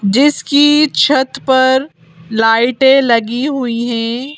जिसकी छत पर लाइटें लगी हुई हैं।